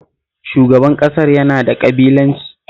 Shugaban ƙasar yana da ƙabilanci